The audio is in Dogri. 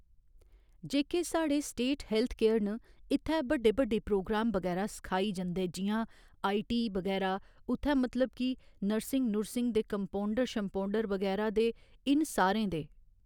जेह्‌के साढ़े स्टेट हैल्थ केयर न इत्थैं बड्डे बड्डे प्रोग्राम बगैरा सखाई जन्दे जि'यां आई टी बगैरा उत्थै मतलब कि नर्सिंग नूरसिंग दे कम्पाउण्डर शम्पाउण्डर बगैरा दे इन सारें दे